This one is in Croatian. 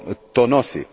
to nosi.